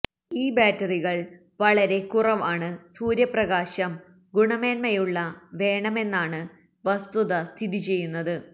ഈ ബാറ്ററികൾ വളരെ കുറവാണ് സൂര്യപ്രകാശം ഗുണമേന്മയുള്ള വേണമെന്നാണ് വസ്തുത സ്ഥിതിചെയ്യുന്നത്